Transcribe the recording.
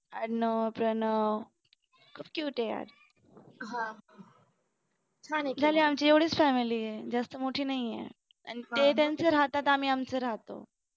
अर्णव प्रणव खूप cute आहेत यार झाली आमची एवढीच family आहे जास्त मोठी नाहीये आणि ते त्यांचं राहतात आम्ही आमचं राहतो.